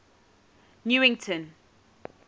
newington